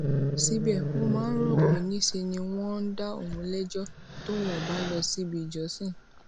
síbè ó máa ń rò pé ńṣe ni wón ń dá òun léjó tóun ò bá lọ síbi ìjọsìn